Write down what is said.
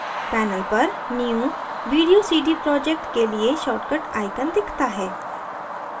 panel पर new video cd project के लिए शार्ट the icon दिखता है